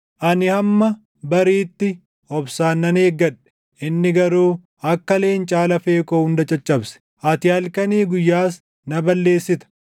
Ani hamma bariitti obsaan nan eeggadhe; inni garuu akka leencaa lafee koo hunda caccabse; ati halkanii guyyaas na balleessita.